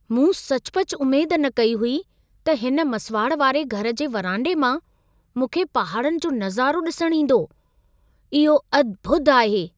मूं सचुपचु उमेद न कई हुई त हिन मसुवाड़ वारे घर जे वरांडे मां मूंखे पहाड़नि जो नज़ारो ॾिसण ईंदो। इहो अद्भुत आहे!